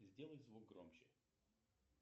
сделай звук громче